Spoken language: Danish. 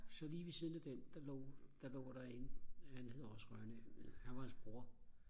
så lige ved siden af den der lå der lå der en han hedder også Rønne han var hans bror